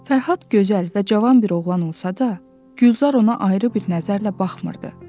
Fərhad gözəl və cavan bir oğlan olsa da, Gülzar ona ayrı bir nəzərlə baxmırdı.